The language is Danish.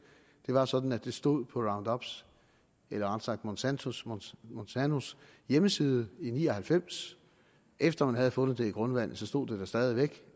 det var sådan at det stod på roundup’s eller rettere monsantos monsantos hjemmeside i nitten ni og halvfems efter man havde fundet det i grundvandet stod det der stadig væk